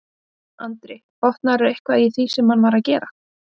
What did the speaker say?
Andri: Botnaðirðu eitthvað í því sem hann var að gera?